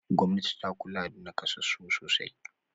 Gwamnati ta kula da naƙasassu sosai.